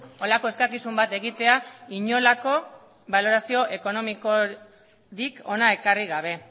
holako eskakizun bat egitea inolako balorazio ekonomikorik hona ekarri gabe